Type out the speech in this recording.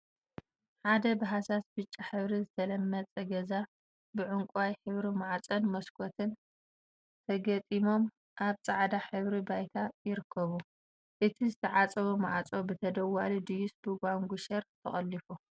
ሓደ ብሃሳስ ብጫ ሕብሪ ዝተለመፀ ገዛ ብዕንቋይ ሕብሪ ማዕፆን መስኮትን ተገጢሞም አብ ፃዕዳ ድሕረ ባይታ ይርከቡ፡፡ እዚ ዝተዓፀወ ማዕፆ ብተደዋሊ ድዩሰ ብጓጉንሸር ተቆሊፉ?